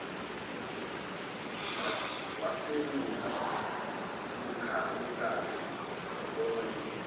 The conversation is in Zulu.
waklewula umkakhe ebona